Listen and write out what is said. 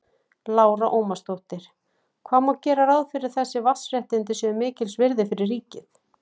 Lára Ómarsdóttir: Hvað má gera ráð fyrir að þessi vatnsréttindi séu mikils virði fyrir ríkið?